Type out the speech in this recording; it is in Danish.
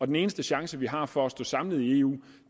den eneste chance vi har for at stå samlet i eu